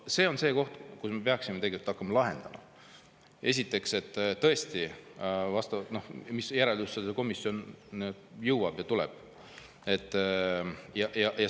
See on see, mida me peaksime tegelikult hakkama lahendama tõesti vastavalt sellele, mis järeldusele komisjon jõuab.